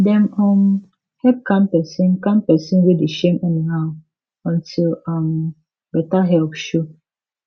dem um help calm person calm person wey dey shame anyhow until um better help show